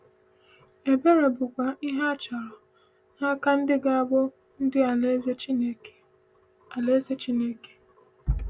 Ebere bụkwa ihe achọrọ n’aka ndị ga-abụ ndị Alaeze Chineke. Alaeze Chineke.